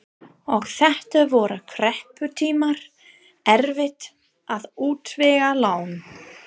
Og þetta voru krepputímar, erfitt að útvega lán.